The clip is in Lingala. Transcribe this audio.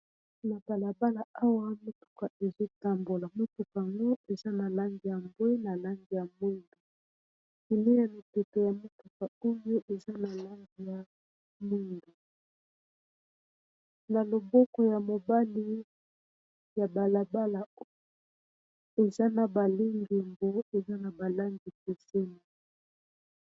na balabala awa motuka ezotambola motuka ngo eza na langi ya mbwe na lange ya mwindu kiliya miteke ya motuka oyo eza na lange ya mwindu na loboko ya mobali ya balabala oyo eza na balangi eza na balangi ekeseni